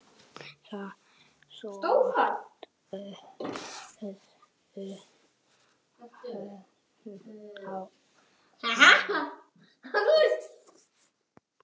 Þeir störðu hvor á annan.